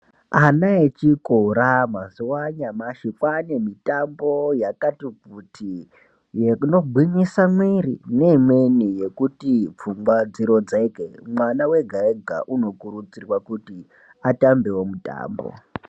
Ana echikora mazuwa anyamashi kwaane mitambo yakati kuti, inogwinyise mwiri neimweni yekuti pfungwa dzirodzeke mwana wega wega unokurudzirwa kuti atambewo mutambo.